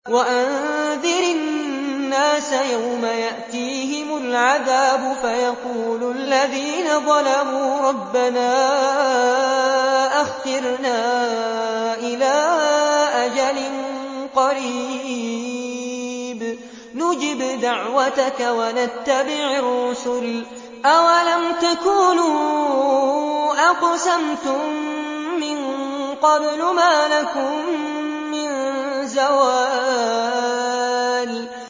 وَأَنذِرِ النَّاسَ يَوْمَ يَأْتِيهِمُ الْعَذَابُ فَيَقُولُ الَّذِينَ ظَلَمُوا رَبَّنَا أَخِّرْنَا إِلَىٰ أَجَلٍ قَرِيبٍ نُّجِبْ دَعْوَتَكَ وَنَتَّبِعِ الرُّسُلَ ۗ أَوَلَمْ تَكُونُوا أَقْسَمْتُم مِّن قَبْلُ مَا لَكُم مِّن زَوَالٍ